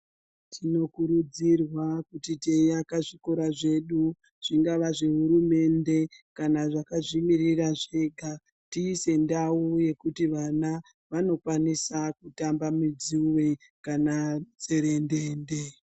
Tinokurudzirwa kuti teiaka zvikora zvedu zvingava zveHurumende kana zvakazvimirira zvega tiise ndau dzekuti vana vanokwanisa kutamba midzuwe kana mitserendende.